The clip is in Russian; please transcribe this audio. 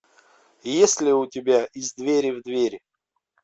есть ли у тебя из двери в двери